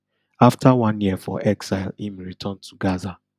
afta one year for exile im return to gaza